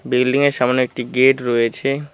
বিল্ডিংয়ের সামনে একটি গেট রয়েছে।